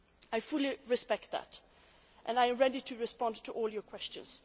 I fully respect that and am ready to respond to all your questions.